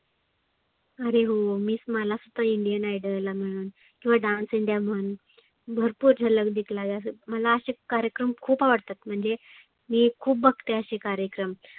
आरे हो मीच मला Indian Idol किंवा Dance India म्हण भरपुर झलक दिखलाजा असं. मला असं कार्यक्रम खुप आवडतात म्हणजे मी खुप बघते असे कार्यक्रम.